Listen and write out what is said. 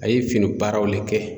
A ye fini baaraw le kɛ.